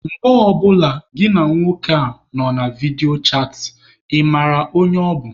Mgbe ọ bụla gịnị na nwoke a nọ na vidio chatị, ị mara onye ọ bụ?